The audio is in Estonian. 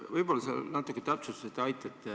Võib-olla sa natuke täpsustad ja aitad.